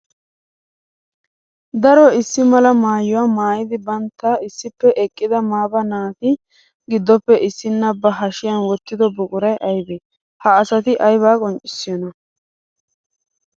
Daro issi mala maayuwa maayiddi bantta issippe eqqidda maaba naati giddoppe issinna ba hashiyan wottiddo buquray aybbe? Ha asatti aybba qonccissiyoona?